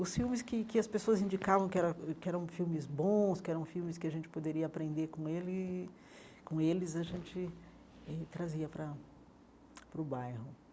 Os filmes que que as pessoas indicavam que eram que eram filmes bons, que eram filmes que a gente poderia aprender com ele com eles, a gente eh trazia para para o bairro.